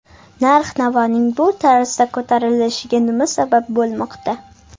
Narx-navoning bu tarzda ko‘tarilishiga nima sabab bo‘lmoqda?